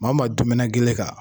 Ma ma dumuna gele kan.